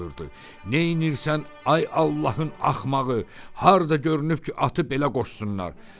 Çığırdı: "Neyləyirsən ay Allahın axmağı, harda görünüb ki, atı belə qoşsunlar?"